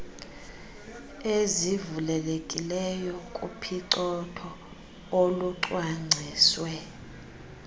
ezivulelekileyo kuphicotho olwucwangciswe